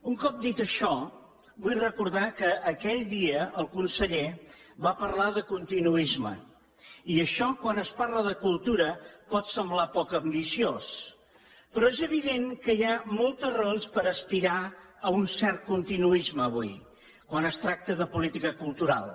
un cop dit això vull recordar que aquell dia el conseller va parlar de continuisme i això quan es parla de cultura pot semblar poc ambiciós però és evident que hi ha moltes raons per aspirar a un cert continuisme avui quan es tracta de política cultural